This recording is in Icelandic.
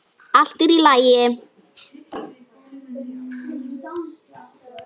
Allt er í lagi.